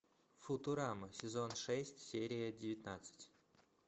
футурама сезон шесть серия девятнадцать